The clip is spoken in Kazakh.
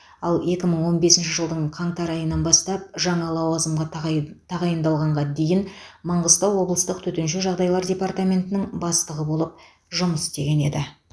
ал екі мың он бесінші жылдың қаңтар айынан бастап жаңа лауазымға тағайн тағайындалғанға дейін маңғыстау облыстық төтенше жағдайлар департаментінің бастығы болып жұмыс істеген еді